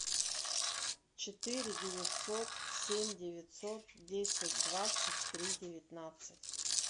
четыре девятьсот семь девятьсот десять двадцать три девятнадцать